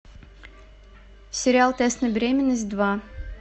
сериал тест на беременность два